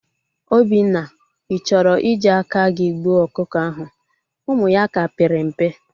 Obinna, I chọrọ i ji aka gị gbuo ọkụkọ ahụ? Ụmụ ya ka pere mpe